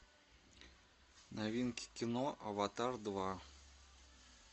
новинки кино аватар два